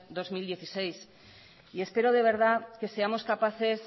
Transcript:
dos mil dieciséis y espero de verdad que seamos capaces